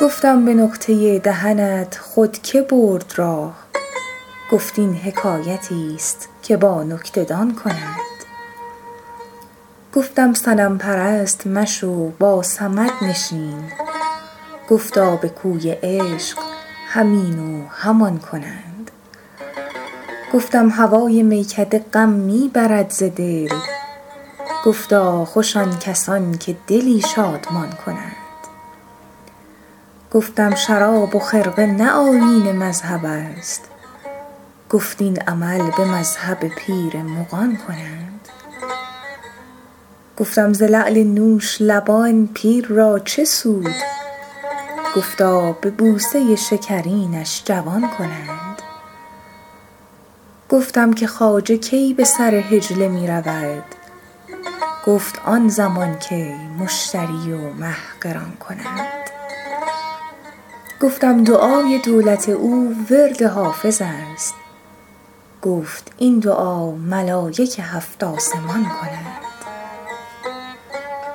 گفتم به نقطه دهنت خود که برد راه گفت این حکایتیست که با نکته دان کنند گفتم صنم پرست مشو با صمد نشین گفتا به کوی عشق هم این و هم آن کنند گفتم هوای میکده غم می برد ز دل گفتا خوش آن کسان که دلی شادمان کنند گفتم شراب و خرقه نه آیین مذهب است گفت این عمل به مذهب پیر مغان کنند گفتم ز لعل نوش لبان پیر را چه سود گفتا به بوسه شکرینش جوان کنند گفتم که خواجه کی به سر حجله می رود گفت آن زمان که مشتری و مه قران کنند گفتم دعای دولت او ورد حافظ است گفت این دعا ملایک هفت آسمان کنند